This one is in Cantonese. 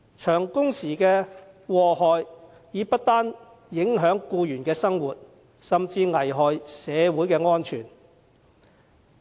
長工時造成的禍害不單影響僱員的生活，而且更危害社會安全。